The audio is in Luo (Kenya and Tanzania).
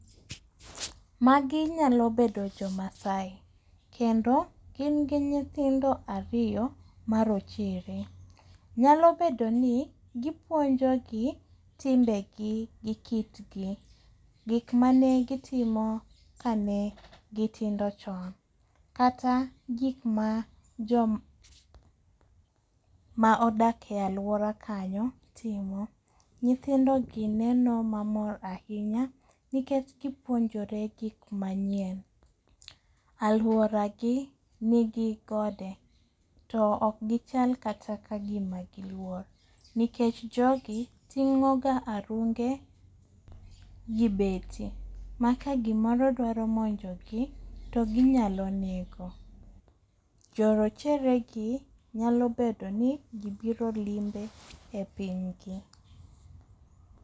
Magi nyalo bedo jo Maasai. Kendo gin gi nyithindo ariyo marochere. Nyalo bedo ni gipuonjo gi timbe gi gi kit gi. Gik manegitimo kane gitindo chon. Kata gik ma joma odak e aluora kanyo timo. Nyithindo gi neno mamor ahinya nikech gipuonjore gik manyien. Aluora gi nigi gode. To ok gichal kata ka gima giluor nikech jogi ting'o ga arunge gi beti ma kagimoro dwaro monjo gi to ginyalo nego. Jorochere gi nyalo bedo ni gibiro limbe e piny gi.